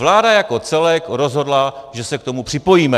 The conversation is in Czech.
Vláda jako celek rozhodla, že se k tomu připojíme.